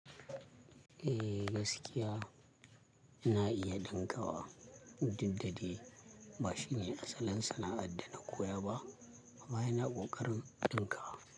Eh gaskiya na iya ɗinkawa, duk da dai ba shine asalin sana'ar da na koya ba. Baya na ƙoƙarin ɗinkawa.